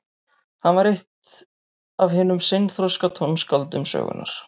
Hann var eitt af hinum seinþroska tónskáldum sögunnar.